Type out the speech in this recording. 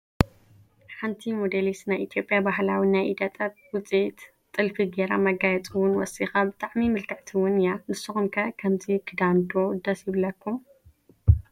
ሓንቲ ሞዴሊስት ናይ ኢ/ያ ባህላዊ ናይ ኢደ ጥበብ ውፅኢት ጥልፊ ገይራ መጋየፂ ውን ወሲኻ ብጣዕሚ ምልክዕቲ ውን እያ፡፡ ንስኹም ከ ከምዚ ክዳን ዶ ደስ ይብለኩም?